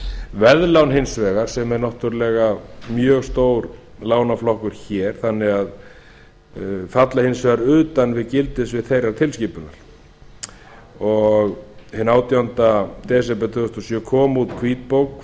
veðlán hins vegar sem er náttúrlega mjög stór lánaflokkur hér falla hins vegar utan við gildissvið þeirrar tilskipunar og hinn átjánda desember tvö þúsund og sjö kom út hvítbók